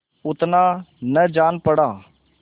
उतना न जान पड़ा